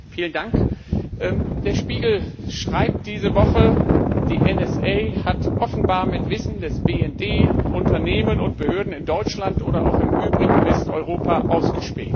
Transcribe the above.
Frau Präsidentin! Der Spiegel schreibt diese Woche Die NSA hat offenbar mit Wissen des BND Unternehmen und Behörden in Deutschland oder auch im übrigen Westeuropa ausgespäht.